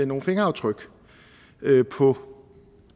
nogle fingeraftryk på